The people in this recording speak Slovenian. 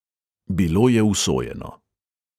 Bilo je usojeno.